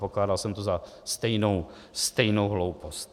Pokládal jsem to za stejnou hloupost.